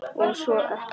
Og svo ekkert meir.